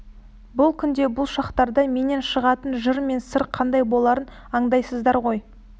бұл күнде бұл шақтарда менен шығатын жыр мен сыр қандай боларын андайсыңдар ғой